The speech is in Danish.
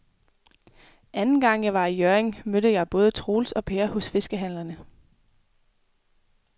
Anden gang jeg var i Hjørring, mødte jeg både Troels og Per hos fiskehandlerne.